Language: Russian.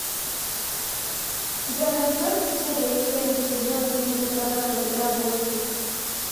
у тебя найдется серия семь сезона три сатана на подработке